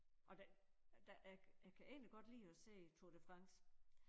Og det det jeg jeg kan egentlig godt lide og se Tour de France